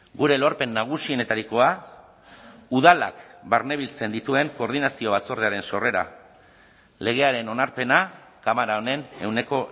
gure lorpen nagusienetarikoa udalak barnebiltzen dituen koordinazio batzordearen sorrera legearen onarpena kamara honen ehuneko